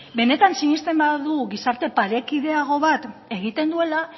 benetan sinesten badugu gizarte parekideago bat egiten duela